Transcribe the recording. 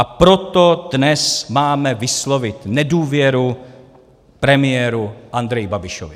A proto dnes máme vyslovit nedůvěru premiéru Andreji Babišovi.